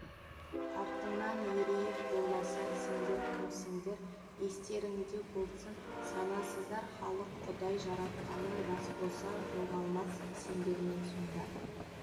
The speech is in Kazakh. арттарыңнан ерейік болмаса сендер кімсіңдер естеріңде болсын санасыздар халық құдай жаратқаны рас болса жоғалмас сендермен сонда